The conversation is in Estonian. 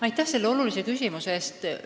Aitäh selle olulise küsimuse eest!